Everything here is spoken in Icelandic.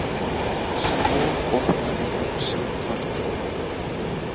Svo botnaði hún samtalið.